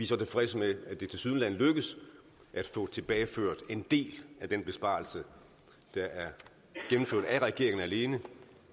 så tilfredse med at det tilsyneladende lykkes at få tilbageført en del af den besparelse der er gennemført af regeringen alene